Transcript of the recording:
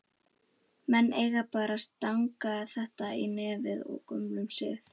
Menn eiga bara að stanga þetta í netið af gömlum sið!